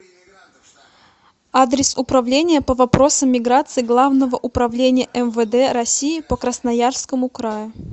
адрес управление по вопросам миграции главного управления мвд россии по красноярскому краю